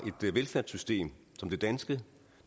et velfærdssystem som det danske